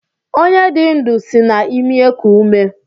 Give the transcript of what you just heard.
Onye dị ndụ sị na-imi eku ume.